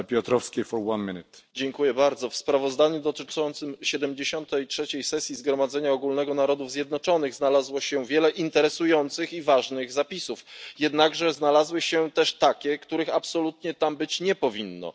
Panie Przewodniczący! W sprawozdaniu dotyczącym 73. sesji Zgromadzenia Ogólnego Narodów Zjednoczonych znalazło się wiele interesujących i ważnych zapisów. Jednak znalazły się też takie, których absolutnie tam być nie powinno.